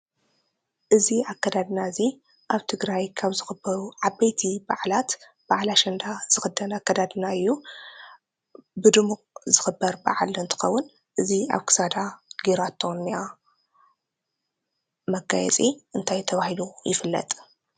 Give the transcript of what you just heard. እዚ ኣከዳድና እዚ ኣብ ትግራይ ካብ ዝኽበሩ ዓበይቲ ብዓላት ኣሽንዳ ዝኽዳን ኣከዳድና እዩ። ብድሙቅ ዝኽበር በዓል እንትኸውን እዚ ኣብ ክሳዳ ጌራቶ ዝኒኣ መጋየፂ እንታይ ተባሂሉ ይፍለጥ?